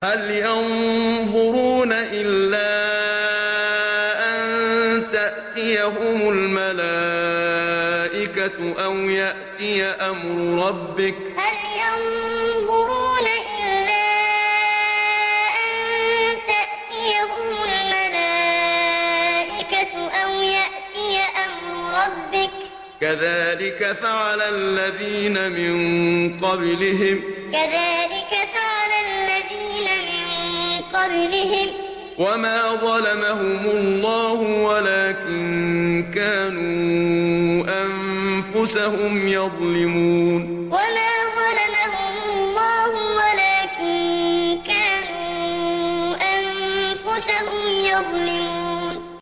هَلْ يَنظُرُونَ إِلَّا أَن تَأْتِيَهُمُ الْمَلَائِكَةُ أَوْ يَأْتِيَ أَمْرُ رَبِّكَ ۚ كَذَٰلِكَ فَعَلَ الَّذِينَ مِن قَبْلِهِمْ ۚ وَمَا ظَلَمَهُمُ اللَّهُ وَلَٰكِن كَانُوا أَنفُسَهُمْ يَظْلِمُونَ هَلْ يَنظُرُونَ إِلَّا أَن تَأْتِيَهُمُ الْمَلَائِكَةُ أَوْ يَأْتِيَ أَمْرُ رَبِّكَ ۚ كَذَٰلِكَ فَعَلَ الَّذِينَ مِن قَبْلِهِمْ ۚ وَمَا ظَلَمَهُمُ اللَّهُ وَلَٰكِن كَانُوا أَنفُسَهُمْ يَظْلِمُونَ